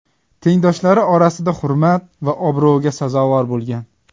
Tengdoshlari orasida hurmat va obro‘ga sazovor bo‘lgan.